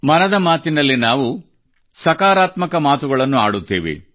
ಮನದ ಮಾತಿನಲ್ಲಿ ನಾವು ಸಕಾರಾತ್ಮಕ ಮಾತುಗಳನ್ನು ಆಡುತ್ತೇವೆ